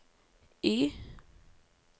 Y